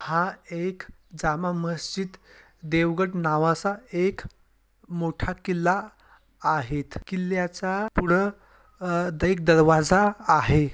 हा एक जामा मस्जित देवगड़ नावाचा एक मोठा किल्ला आहेत किल्लाचा पुढ अ एक दरवाजा आहे.